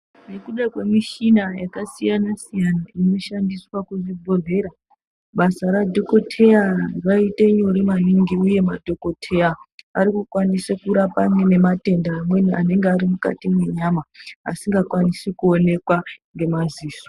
Nekuda kwemichina yakasiyana -siyana inoshandiswa kuzvibhedhlera basa radhokoteya riite nyore maningi uye madhokotera akwanise kurapa nematenda anenge ari mukati menyama asingakwanisi kuonekwa nemaziso .